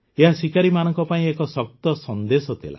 ଏହା ଶିକାରୀମାନଙ୍କ ପାଇଁ ଏକ ଶକ୍ତ ସନ୍ଦେଶ ଥିଲା